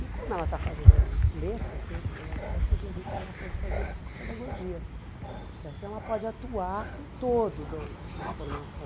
E como ela está fazendo letras né, eu até sugeri que ela fosse fazer psicopedagogia, porque assim ela pode atuar no todo do de uma formação.